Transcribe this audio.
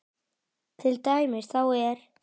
Til dæmis þá er